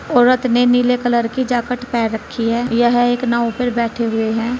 औरत ने नीले कलर की जैकेट पहन रखी है यह एक नाव पर बैठे हुए हैं।